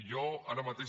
jo ara mateix